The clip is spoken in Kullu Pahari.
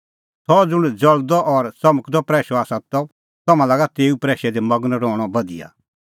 सह ज़ुंण ज़ल़दअ और च़मकदअ प्रैशअ आसा त तम्हां लागअ तेऊए प्रैशै दी मगन रहणअ बधिया